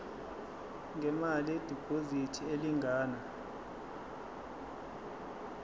ngemali yediphozithi elingana